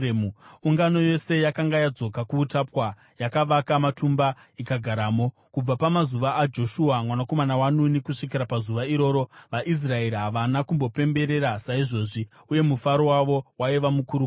Ungano yose yakanga yadzoka kuutapwa yakavaka matumba ikagaramo. Kubva pamazuva aJoshua mwanakomana waNuni kusvikira pazuva iroro, vaIsraeri havana kumbopemberera saizvozvi. Uye mufaro wavo waiva mukuru kwazvo.